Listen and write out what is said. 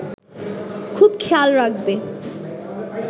খুব খেয়াল রাখবে